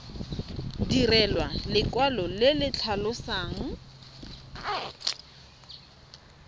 direlwa lekwalo le le tlhalosang